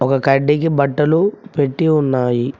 ఒక కడ్డికి బట్టలు పెట్టి ఉన్నాయి.